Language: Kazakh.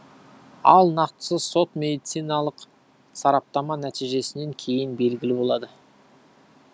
ал нақтысы сот медициналық сараптама нәтижесінен кейін белгілі болады